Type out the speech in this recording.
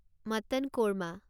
mutton korma